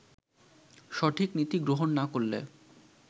সঠিক নীতি গ্রহণ না করলে